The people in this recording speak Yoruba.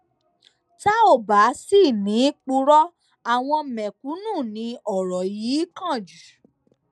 tá ò bá sì ní í purọ àwọn mẹkúnnù ni ọrọ yìí kàn jù